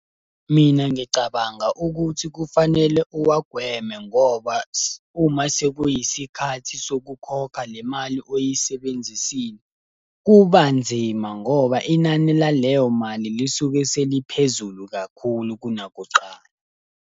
Mina ngicabanga ukuthi kufanele uwagweme ngoba uma sekuyisikhathi sokukhokha le mali oyisebenzisile, kuba nzima ngoba inani laleyo mali lisuke seliphezulu kakhulu kunakuqala.